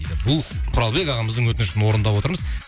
бұл құралбек ағамыздың өтінішін орындап отырмыз